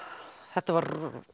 þetta var